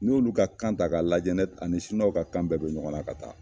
N'i y'olu ka kan ta k'a lajɛ a ni ka kan bɛ don ɲɔgɔnna ka taa